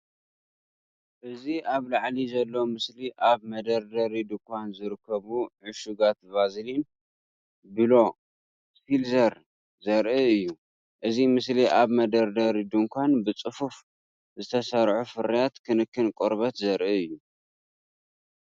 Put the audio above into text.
ኣብዚ ኣብ ላዕሊ ዘሎ ምስሊ ኣብ መደርደሪ ድኳን ዝርከቡ ዕሹጋት ቫዝሊን ብሉ ሲል ዘርኢ እዩ። እዚ ምስሊ ኣብ መደርደሪ ድኳን ብጽፉፍ ዝተሰርዑ ፍርያት ክንክን ቆርበት ዘርኢ እዩ።